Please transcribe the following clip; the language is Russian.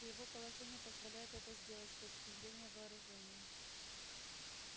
и его положение позволяет это сделать с точки зрения вооружения